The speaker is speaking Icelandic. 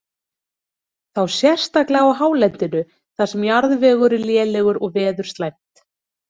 Þá sérstaklega á hálendinu þar sem jarðvegur er lélegur og veður slæmt.